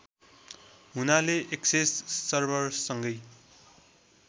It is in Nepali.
हुनाले एक्सेस सर्भरसँगै